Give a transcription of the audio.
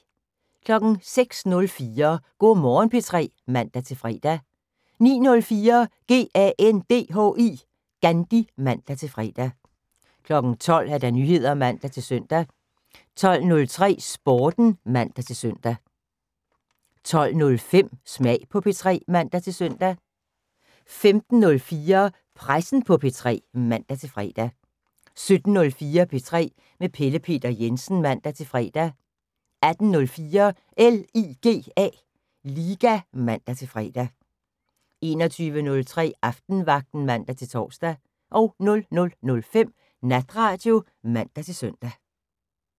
06:04: Go' Morgen P3 (man-fre) 09:04: GANDHI (man-fre) 12:00: Nyheder (man-søn) 12:03: Sporten (man-søn) 12:05: Smag på P3 (man-søn) 15:04: Pressen på P3 (man-fre) 17:04: P3 med Pelle Peter Jensen (man-fre) 18:04: LIGA (man-fre) 21:03: Aftenvagten (man-tor) 00:05: Natradio (man-søn)